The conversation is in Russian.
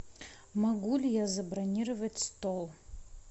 могу ли я забронировать стол